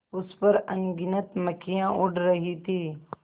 उस पर अनगिनत मक्खियाँ उड़ रही थीं